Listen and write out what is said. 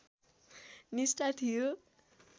निष्ठा थियो